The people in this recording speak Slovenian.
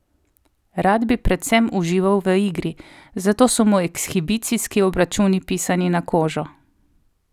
Rad bi predvsem užival v igri, zato so mu ekshibicijski obračuni pisani na kožo.